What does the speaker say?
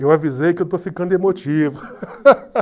Eu avisei que eu estou ficando emotivo.